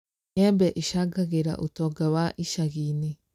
Mĩembe ĩcangagĩra ũtonga wa ĩcagi-inĩ